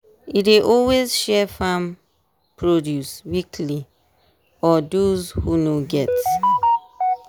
e dey always share farm produce weekly or dose who no get